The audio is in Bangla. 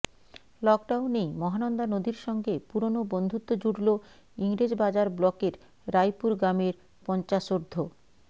লকডাউনেই মহানন্দা নদীর সঙ্গে পুরনো বন্ধুত্ব জুড়ল ইংরেজবাজার ব্লকের রায়পুর গ্রামের পঞ্চাশোর্ধ